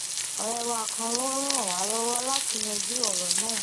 òré wa kan ló ràn wá lówó láti yanjú òrò náà